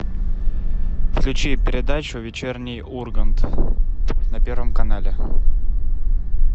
включи передачу вечерний ургант на первом канале